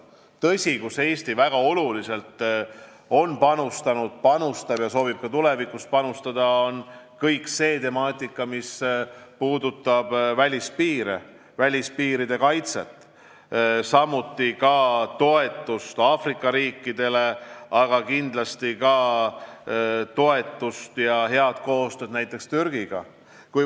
Valdkond, kuhu Eesti on väga olulisel määral panustanud ja soovib ka tulevikus panustada, on kõik see, mis puudutab välispiiride kaitset, samuti toetust Aafrika riikidele ning head koostööd näiteks Türgiga.